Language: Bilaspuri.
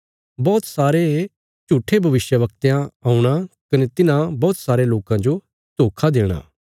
बौहत सारे झूट्ठे भविष्यवक्तयां औणा कने तिन्हां बौहत सारे लोकां जो धोखा देणा